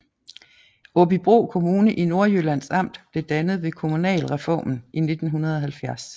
Aabybro Kommune i Nordjyllands Amt blev dannet ved kommunalreformen i 1970